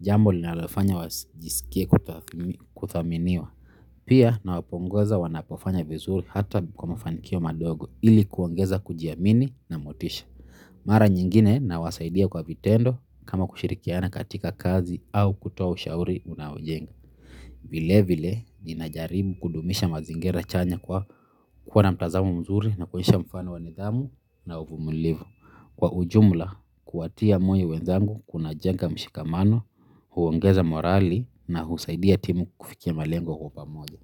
jambo linalofanya wasijisikie kuthaminiwa. Pia nawapongeza wanapofanya vizuri hata kwa mafanikio madogo ili kuongeza kujiamini na motisha. Mara nyingine nawasaidia kwa vitendo kama kushirikiana katika kazi au kutoa ushauri unaojenga. Vile vile, ninajaribu kudumisha mazingira chanya kwa kuwa na mtazamo mzuri na kuonyesha mfano wa nidhamu na uvumilivu. Kwa ujumla, kuwatia moyo wenzangu kuna jenga mshikamano, huongeza morali na husaidia timu kufikia malengo kwa pamoja.